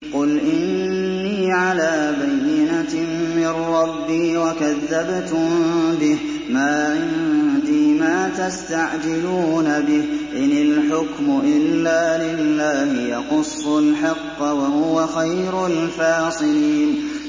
قُلْ إِنِّي عَلَىٰ بَيِّنَةٍ مِّن رَّبِّي وَكَذَّبْتُم بِهِ ۚ مَا عِندِي مَا تَسْتَعْجِلُونَ بِهِ ۚ إِنِ الْحُكْمُ إِلَّا لِلَّهِ ۖ يَقُصُّ الْحَقَّ ۖ وَهُوَ خَيْرُ الْفَاصِلِينَ